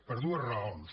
per dues raons